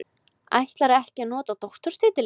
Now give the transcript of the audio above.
Ætlar ekki að nota doktorstitilinn